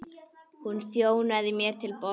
Hún þjónaði mér til borðs.